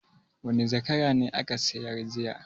Wane zakara ne aka sayar jiya?